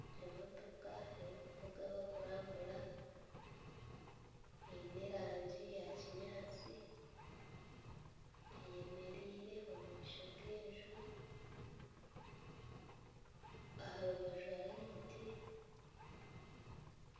Emotooka erikuvugwa abarikurambura Eine erangi ya kinyatsi eyemereire omumaisho genju aha rubaju hariho emiti